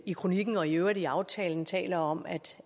i kronikken og i øvrigt i aftalen taler om at